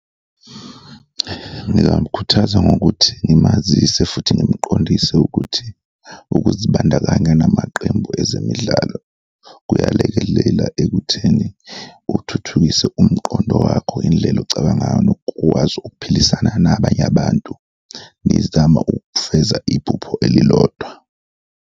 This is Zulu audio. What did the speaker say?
Ngingamkhuthaza ngokuthi ngimazise futhi ngimqondise ukuthi ukuzibandakanya namaqembu ezemidlalo kuyalekelela ekutheni uthuthukise umqondo wakho, indlela ocabanga ngayo nokwazi ukuphilisana nabanye abantu, ngizama ukufeza iphupho elilodwa.